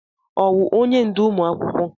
Ọwụ onye ndú ụmụ akwụkwọ?